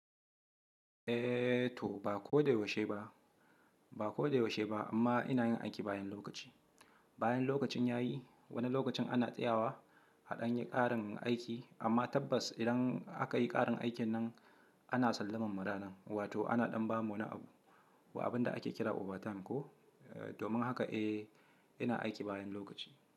Eh to ba ko da yaushe ba, ba ko da yaushe ba amma ina yin aiki bayan lokaci. Bayan lokacin yayi wani lokacin ana tsayawa a ɗan yi ƙarin aiki amma tabbas idan aka yi ƙarin aikin nan ana sallamar mu ranan wato ana ɗan ba mu wani abu wa abin da ake kira overtime ko? Domin haka eh ina aiki bayan lokaci.